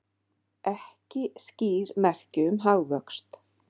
Ekki skýr merki um hagvöxt